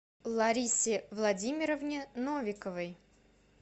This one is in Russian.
ларисе владимировне новиковой